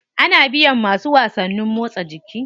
Ana biyan masu wasannin motsa jiki.